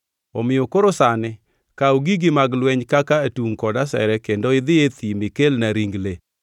Omiyo koro sani kaw gigi mag lweny kaka atungʼ kod asere kendo idhi e thim ikelna ring le.